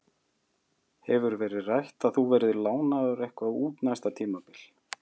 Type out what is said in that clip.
Hefur verið rætt að þú verðir lánaður eitthvað út næsta tímabil?